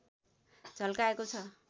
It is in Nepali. झल्काएको छ